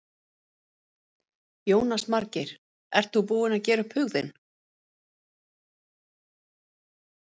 Jónas Margeir: Ert þú búinn að gera upp hug þinn?